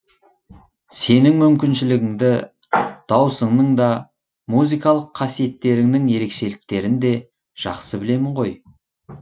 сенің мүмкіншілігіңді даусыңның да музыкалық қасиеттеріңнің ерекшеліктерін де жақсы білемін ғой